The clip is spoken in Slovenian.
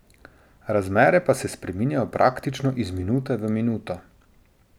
Razmere pa se spreminjajo praktično iz minute v minuto.